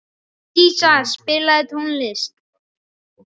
Dísa, spilaðu tónlist.